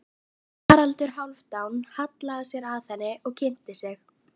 Haraldur Hálfdán hallaði sér að henni og kynnti sig.